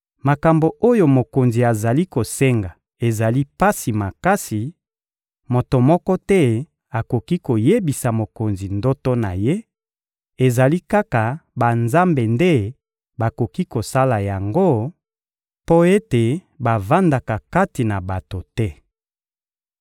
Makambo oyo mokonzi azali kosenga ezali pasi makasi, moto moko te akoki koyebisa mokonzi ndoto na ye; ezali kaka banzambe nde bakoki kosala yango mpo ete bavandaka kati na bato te.